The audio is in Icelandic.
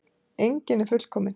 Enginn er fullkominn.